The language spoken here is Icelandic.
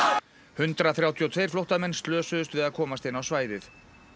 hundrað þrjátíu og tvö flóttamenn slösuðust við að komast inn á svæðið